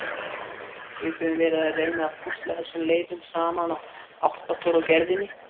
Við höfum verið að reyna að púsla þessum leifum saman og átta okkur á gerðinni.